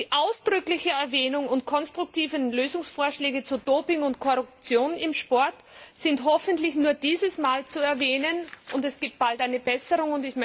Die ausdrückliche Erwähnung und konstruktiven Lösungsvorschläge zu Doping und Korruption im Sport sind hoffentlich nur dieses Mal zu erwähnen, und es gibt bald eine Besserung.